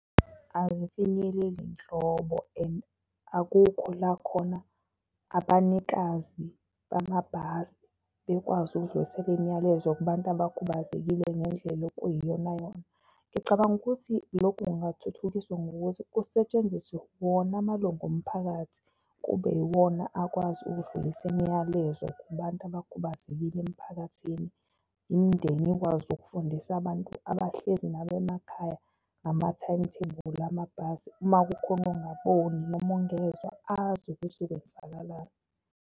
Azifinyeleli nhlobo and akukho la khona abanikazi bamabhasi bekwazi ukudlulisela imiyalezo kubantu abakhubazekile ngendlela okuyiyonayona. Ngicabanga ukuthi lokhu kungathuthukiswa ngokuthi kusetshenziswe wona amalunga omphakathi, kube iwona akwazi ukudlulisa imiyalezo kubantu abakhubazekile emphakathini. Imindeni ikwazi ukufundisa abantu abahlezi nabo emakhaya ngama-timetable amabhasi, uma kukhona ongaboni noma ongezwa azi ukuthi kwenzakalani.